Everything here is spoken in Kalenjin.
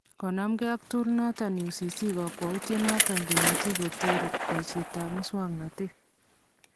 Konamkee ak tool noton UCC- kakwautyet noton kemache koteeer boisyeetab musoknotet